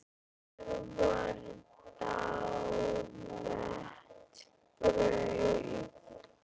Hér var það daglegt brauð.